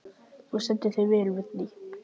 Þú stendur þig vel, Vigný!